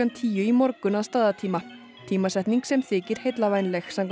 tíu í morgun að staðartíma tímasetning sem þykir heillavænleg samkvæmt